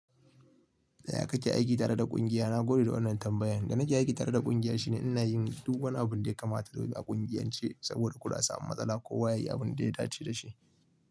Tsaya kake aiki tare da kungiya? Na gode da wannan tambayan. Da na ke aiki tare da kungiya shine ina yin duk wani abun da ya kamata zai bi a kungiyance saboda kula sa'an matsala ko waye yi abun da ya dace da shi.